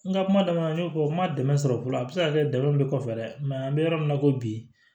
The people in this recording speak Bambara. N ka kuma daminɛ na n y'o fɔ n ma dɛmɛ sɔrɔ fɔlɔ a bɛ se ka kɛ dalu kɔfɛ dɛ an bɛ yɔrɔ min na ko bi